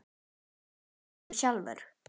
En hvað hélst þú sjálf?